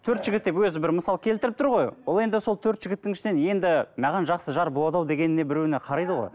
төрт жігіт деп өзі бір мысал келтіріп тұр ғой бұл енді сол төрт жігіттің ішінен енді маған жақсы жар болады ау дегеніне біреуіне қарайды ғой